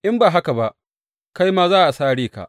In ba haka ba, kai ma za a sare ka.